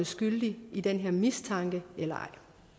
skyldig i den her mistanke eller ej